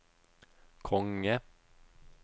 konge